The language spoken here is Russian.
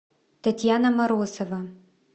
татьяна морозова